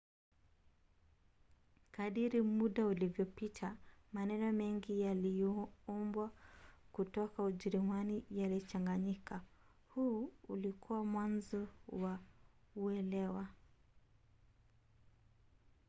kadiri muda ulivyopita maneno mengi yaliyoombwa kutoka ujerumani yalichanganyika. huu ulikuwa mwanzo wa uelewa